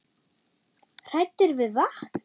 Hræddir við vatn!